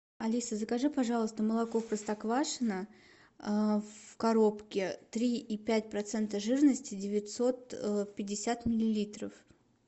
алиса закажи пожалуйста молоко простоквашино в коробке три и пять процента жирности девятьсот пятьдесят миллилитров